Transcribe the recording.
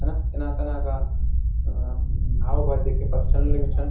हैंना इना तनै का आ अ म हाव भाव देखेकि पता चलन लग्यूं छन।